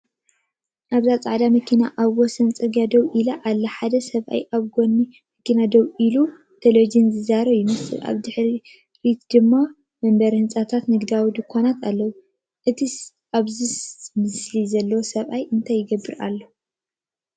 ኣብዚ ጻዕዳ መኪና ኣብ ወሰን ጽርግያ ደው ኢላ ኣላ። ሓደ ሰብኣይ ኣብ ጎኒ መኪና ደው ኢሉ ብቴሌፎን ዝዛረብ ይመስል። ኣብ ድሕሪት ድማ መንበሪ ህንጻታትን ንግዳዊ ድኳናትን ኣለው። እቲ ኣብ ስእሊ ዘሎ ሰብኣይ እንታይ ይገብር ኣሎ?